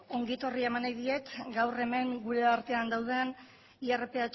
ongi etorria eman nahi diet gaur hemen gure artean dauden irph